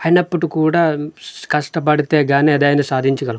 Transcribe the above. ఐనప్పటికీ కూడా ష్ కష్ట బడితేగాని ఏదైనా సాధించ గలం.